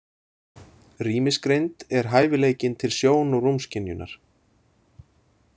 Rýmisgreind er hæfileikinn til sjón- og rúmskynjunar.